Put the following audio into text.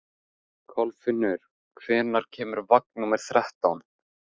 Kolfinnur, hvenær kemur vagn númer þrettán?